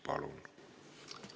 Palun!